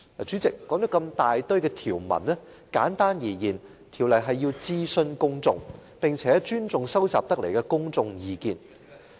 主席，這麼多條文寫明要諮詢公眾，並且尊重收集得來的公眾意見。